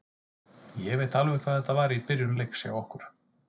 Ég veit alveg hvað þetta var í byrjun leiks hjá okkur.